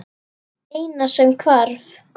Eina sem hvarf.